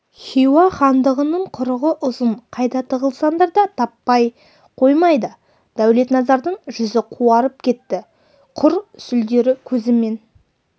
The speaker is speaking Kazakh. хиуа хандығының құрығы ұзын қайда тығылсаңдар да таппай қоймайды дәулетназардың жүзі қуарып кетті құр сүлдері көзімен